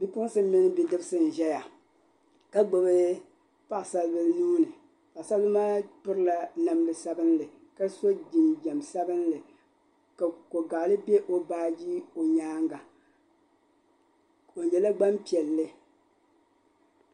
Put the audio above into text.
Bipuɣinsi mini bidibisi n-zaya ka gbibi paɣisaribila nuu ni. Paɣisaribila maa pirila namda sabilinli ka so jinjam sabilinli ka kogaliɣili be baaji ni o nyaaŋga. O nyɛla gbampiɛlli.